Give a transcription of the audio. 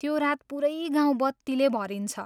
त्यो रात पुरै गाउँ बत्तीले भरिन्छ।